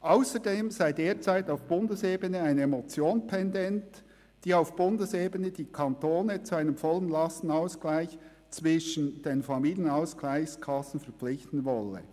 Ausserdem sei derzeit auf Bundesebene eine Motion pendent, die auf Bundesebene die Kantone zu einem vollen Lastenausgleich zwischen den Familienausgleichskassen verpflichten wolle.